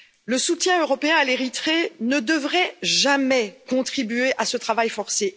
Le soutien européen à l'Érythrée ne devrait jamais contribuer à ce travail forcé.